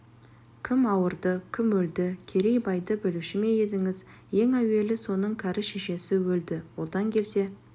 кім ауырды кім өлді керейбайды білуші ме едіңіз ең әуелі соның кәрі шешесі өлді одан келсе